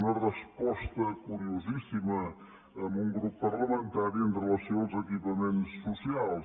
una resposta curiosíssima a un grup parlamentari amb relació als equipaments socials